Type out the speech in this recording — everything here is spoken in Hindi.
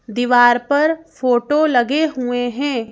दीवार पर फोटो लगे हुए हैं।